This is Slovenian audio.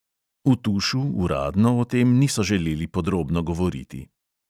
V tušu uradno o tem niso želeli podrobno govoriti.